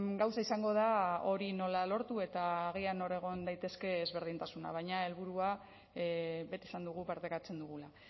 gauza izango da hori nola lortu eta agian nor egon daiteke ezberdintasuna baina helburua beti esan dugu partekatzen dugula